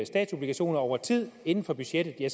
statsobligationer over tid inden for budgettet ja